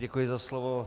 Děkuji za slovo.